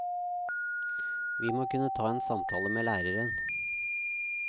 Vi må kunne ta en samtale med læreren.